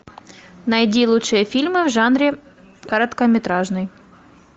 найди лучшие фильмы в жанре короткометражный